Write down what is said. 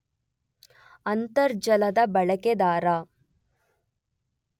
ಅಂತರ್ಜಾಲದ ಬಳಕೆದಾರ